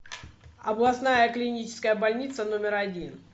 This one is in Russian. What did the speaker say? областная клиническая больница номер один